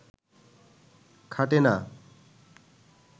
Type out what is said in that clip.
খাটে না